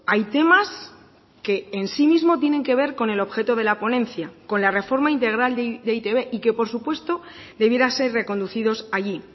hay temas que en sí mismo tienen que ver con el objeto de la ponencia con la reforma integral de e i te be y que por supuesto debiera ser reconducidos allí